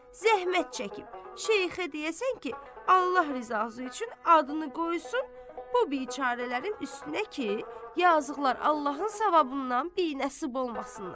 Zəhmət çəkib, şeyxə deyəsən ki, Allah rizası üçün adını qoysun bu biçərələrin üstünə ki, yazılar Allahın savabından binəsib olmasınlar.